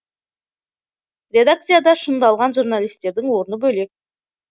редакцияда шыңдалған журналистердің орны бөлек